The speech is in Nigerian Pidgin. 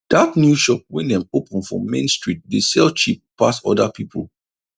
dat new shop wey dem open for main street dey sell cheap pass other people